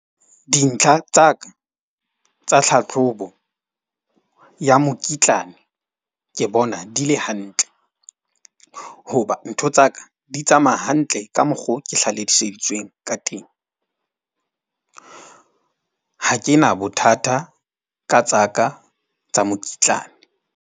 Dintlha tsa ka tsa tlhahlobo ya mokitlane. Ke bona di le hantle hoba ntho tsa ka di tsamaya hantle ka mokgo ke hlaloseditsweng ka teng. Ha ke na bothata ka tsa ka tsa mokitlane.